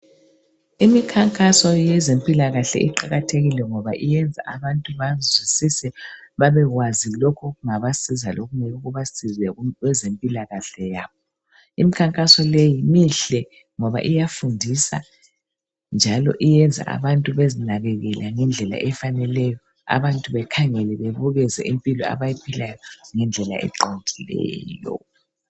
Imikhankaso yezempilakahle iqakathekile ngoba yenza abantu bazwisise babekwazi lokhu okungabasiza lokungeke kubasize kwezempilakahle yabo. Imikhankaso leyi mihle ngoba iyafundisa njalo iyenza abantu bezinakekele ngendlela efaneleyo abantu bekhangele bebukeze impilo abayiphilayo ngendlela eqondileyo.